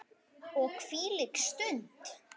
Og hvílík stund!